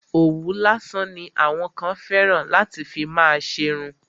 Òwú lásán ni àwọn kan fẹ́ràn láti fi má ṣerun.